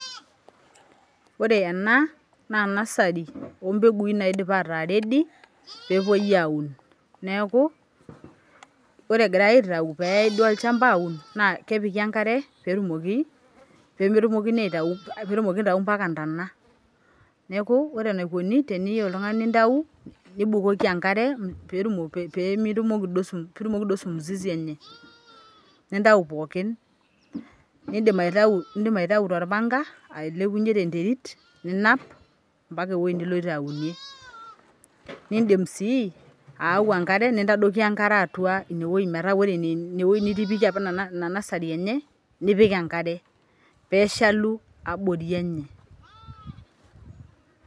This one is nursery of crops that have already been ready to be planted so as it is being removed so as to be taken to the farm to be planted it is being watered so as to remove all including roots so what is being done is that you put water on top so that you uproot all you can take it out using panga to where you want to plant you can also bring water and put it inside so that that nursery is wet.